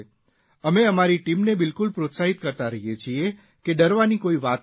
અમે અમારી ટીમને બિલકુલ પ્રોત્સાહિત કરતા રહીએ છીએ કે ડરવાની કોઇ વાત નથી